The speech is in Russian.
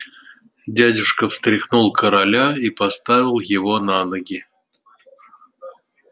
дядюшка встряхнул короля и поставил его на ноги